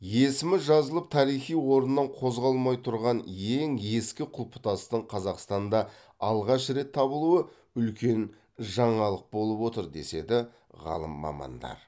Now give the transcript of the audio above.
есімі жазылып тарихи орнынан қозғалмай тұрған ең ескі құлпытастың қазақстанда алғаш рет табылуы үлкен жаңалық болып отыр деседі ғалым мамандар